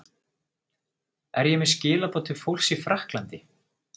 Er ég með skilaboð til fólks í Frakklandi?